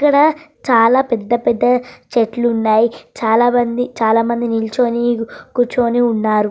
ఇక్కడ చాలా పెద్ద పెద్ద చెట్లు ఉన్నాయి చాలామంది చాలామంది నిలుచుని కూర్చొని ఉన్నారు.